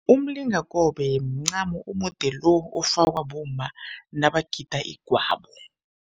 Umlingakobe mncamo omude lo ofakwa bomma nabagida igwabo.